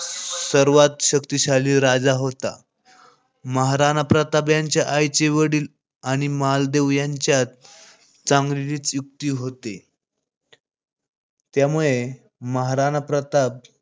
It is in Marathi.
सर्वात शक्तिशाली राजा होता. महाराणा प्रताप यांच्या आईचे वडील आणि मालदेव यांच्यात चांगलीच युती होती.